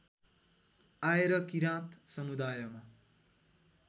आएर किराँत समुदायमा